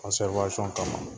kama